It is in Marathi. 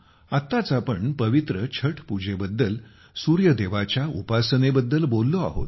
आताच आपण पवित्र छठ पूजेबद्दल सूर्यदेवाच्या उपासनेबद्दल बोललो आहोत